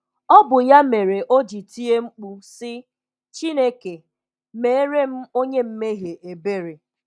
Ọ bụ ya mere o ji tie mkpu, sị, ‘Chineke, meere m onye mmehie ebere!’ "